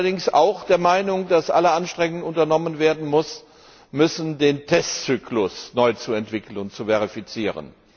Ich bin allerdings auch der Meinung, dass alle Anstrengungen unternommen werden müssen, den Testzyklus neu zu entwickeln und zu verifizieren.